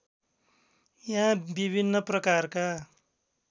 यहाँ विभिन्न प्रकारका